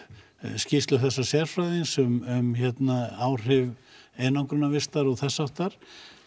skýrslu þessa sérfræðings um áhrif einangrunarvistar og þess háttar